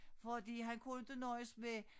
Fordi han kunne inte nøjes med